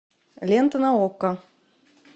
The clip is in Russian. лента на окко